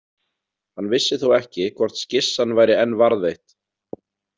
Hann vissi þó ekki hvort skissan væri enn varðveitt.